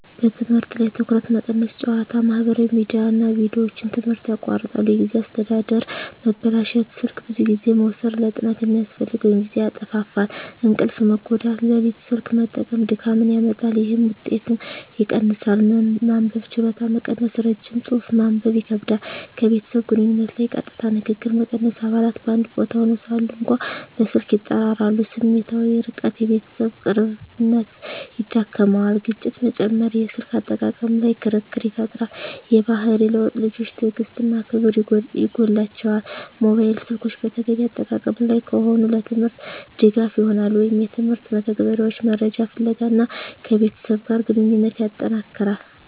በትምህርት ላይ ትኩረት መቀነስ ጨዋታ፣ ማህበራዊ ሚዲያ እና ቪዲዮዎች ትምህርትን ያቋርጣሉ። የጊዜ አስተዳደር መበላሸት ስልክ ብዙ ጊዜ መውሰድ ለጥናት የሚያስፈልገውን ጊዜ ያጣፋፋል። እንቅልፍ መጎዳት ሌሊት ስልክ መጠቀም ድካምን ያመጣል፣ ይህም ውጤትን ይቀንሳል። መንበብ ችሎታ መቀነስ ረጅም ጽሑፍ ማንበብ ይከብዳል። ከቤተሰብ ግንኙነት ላይ ቀጥታ ንግግር መቀነስ አባላት በአንድ ቦታ ሆነው ሳሉ እንኳ በስልክ ይጠራራሉ። ስሜታዊ ርቀት የቤተሰብ ቅርብነት ይዳክመዋል። ግጭት መጨመር የስልክ አጠቃቀም ላይ ክርክር ይፈጠራል። የባህሪ ለውጥ ልጆች ትዕግሥት እና ክብር ይጎላቸዋል። ሞባይል ስልኮች በተገቢ አጠቃቀም ላይ ከሆኑ፣ ለትምህርት ድጋፍ ይሆናሉ (የትምህርት መተግበሪያዎች፣ መረጃ ፍለጋ) እና ከቤተሰብ ጋር ግንኙነትን ያጠነክራል።